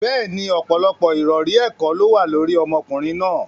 Bẹ́ẹ̀ni, ọ̀pọ̀lọpọ̀ ìròrí ẹ̀kọ́ ló wà lórí ọmọkùnrin náà.